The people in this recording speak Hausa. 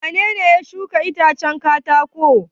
Wane ne ya shuka itacen katako?